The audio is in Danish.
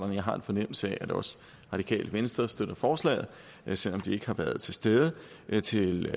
jeg har en fornemmelse af at også radikale venstre støtter forslaget selv om de ikke har været til stede til